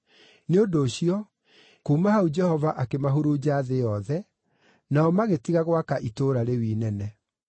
Nĩ ũndũ ũcio, kuuma hau Jehova akĩmahurunja thĩ yothe, nao magĩtiga gwaka itũũra rĩu inene.